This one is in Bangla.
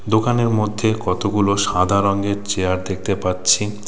দোকানের মধ্যে কতগুলো সাদা রঙের চেয়ার দেখতে পাচ্ছি।